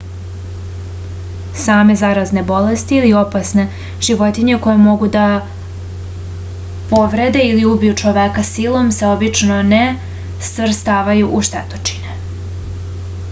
same zarazne bolesti ili opasne životinje koje mogu da povrede ili ubiju čoveka silom se obično ne stvrstavaju u štetočine